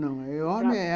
Não, não.